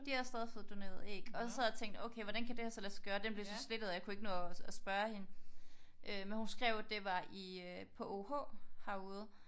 De havde stadig fået doneret æg og jeg sad og tænkte okay hvordan kan det her så lade sig gøre? Den blev så slettet og jeg kunne ikke nå at spørge hende men hun skrev at det var i på OUH herude